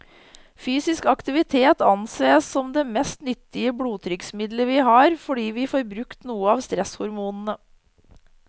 Fysisk aktivitet ansees som det mest nyttige blodtrykksmiddelet vi har, fordi vi får brukt noe av stresshormonene.